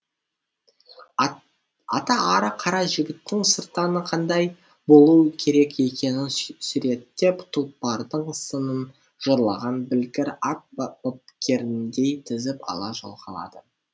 ата ары қарай жігіттің сырттаны қандай болуы керек екенін суреттеп тұлпардың сынын жырлаған білгір ат бапкеріндей тізіп ала жоғалады